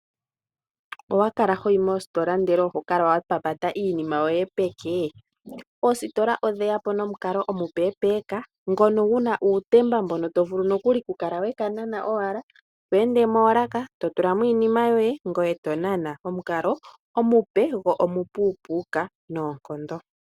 Owa kala hoyi moositola ndele oho kala wapapata iinima yoye peke? Oositola odheyapo momukalo omupe ngoka guna uutemba mboka to vulu oku kala wekenana. Tweende moolaka totulamo iinima yoye ngoye to kala wanana omukalo omupe gwo omupepeka.